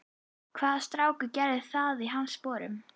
Hvaða strákur gerði það í hans sporum?